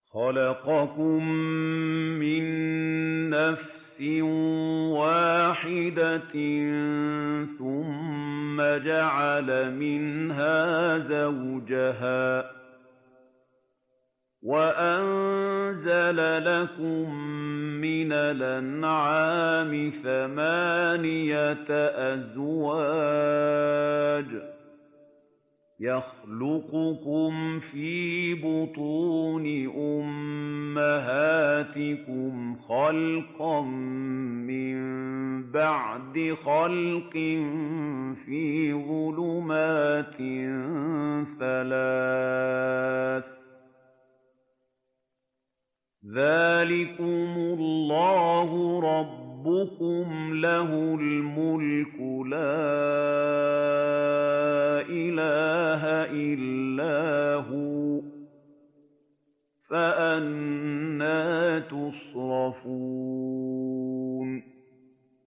خَلَقَكُم مِّن نَّفْسٍ وَاحِدَةٍ ثُمَّ جَعَلَ مِنْهَا زَوْجَهَا وَأَنزَلَ لَكُم مِّنَ الْأَنْعَامِ ثَمَانِيَةَ أَزْوَاجٍ ۚ يَخْلُقُكُمْ فِي بُطُونِ أُمَّهَاتِكُمْ خَلْقًا مِّن بَعْدِ خَلْقٍ فِي ظُلُمَاتٍ ثَلَاثٍ ۚ ذَٰلِكُمُ اللَّهُ رَبُّكُمْ لَهُ الْمُلْكُ ۖ لَا إِلَٰهَ إِلَّا هُوَ ۖ فَأَنَّىٰ تُصْرَفُونَ